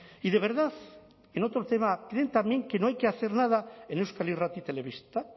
y de verdad en otro tema creen también que no hay que hacer nada en euskal irrati telebista